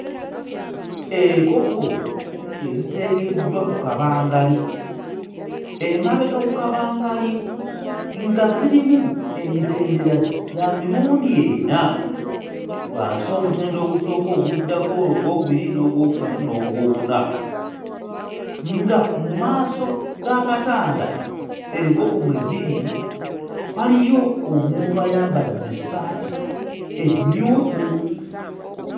Enkoko eziteekeddwa ku kabangali, emabega ku kabangali nga zirimu emitendera gya mirundi ena, wansi omutendera ogusooka, oguddako ogwokubiri n'ogwokusatu n'ogwokuna. Nga mu maaso g'akatanda enkoko mwe ziri waliyo omuntu ayambadde essaati emmyufu.